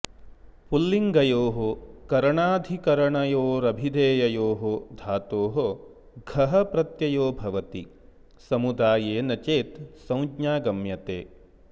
पुंलिङ्गयोः करणाधिकरनयोरभिधेययोः धातोः घः प्रत्ययो भवति समुदायेन चेत् संज्ञा गम्यते